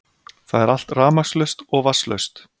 Það er allt rafmagnslaust og vatnslaust